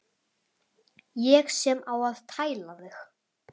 Ég sem á að tæla þig.